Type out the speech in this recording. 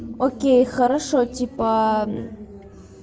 окей хорошо типа